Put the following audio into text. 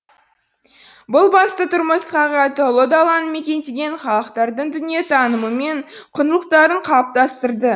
бұл басты тұрмыс ұлы даланы мекендеген халықтардың дүниетанымы мен құндылықтарын қалыптастырды